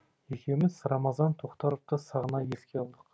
екеуміз рамазан тоқтаровты сағына еске алдық